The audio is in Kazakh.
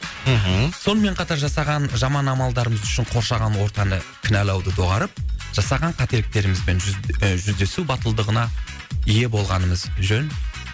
мхм сонымен қатар жасаған жаман амалдарымыз үшін қоршаған ортаны кінәлауды доғарып жасаған қателіктерімізбен і жүздесу батылдығына ие болғанымыз жөн